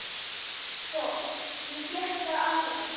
Sko, ég fékk bara alveg nóg.